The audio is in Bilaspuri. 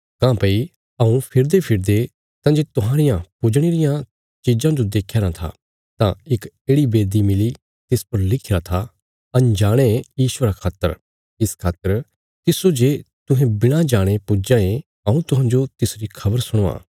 काँह्भई हऊँ फिरदेफिरदे तांजे तुहांरियां पुजणे रियां चिज़ां जो देख्यारा था तां इक येढ़ि वेदी मिली तिस पर लिखिरा था अनजाणे ईश्वरा खातर इस खातर तिस्सो जे तुहें बिणा जाणे पुज्जां ये हऊँ तुहांजो तिसरी खबर सुणावां